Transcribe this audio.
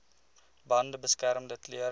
bande beskermende klere